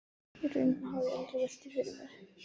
Í rauninni hafði ég aldrei velt því fyrir mér.